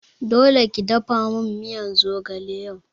Dole ki dafamin miyan zogale yau